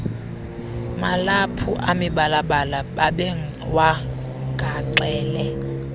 malaphu amibalabala babewagaxele